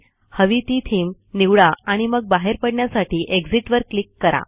हवी ती थीम निवडा आणि मग बाहेर पडण्यासाठी एक्झिट वर क्लिक करा